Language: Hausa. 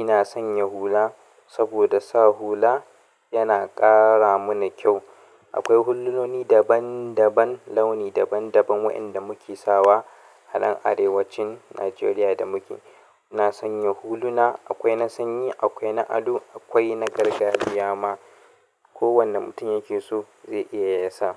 ina sanya hula saboda sa hula yana ƙara mana kyau. Akwai hululoni daban daban, launi daban daban waɗanda muke sawa a nan arewacin Najeriya da muke. Ina sanya huluna, akwai na sanyi, akwai na ado, akwai na gargajiya ma. Ko wanne mutum yake so zai iya ya sa.